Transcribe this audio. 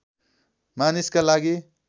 मानिसका लागि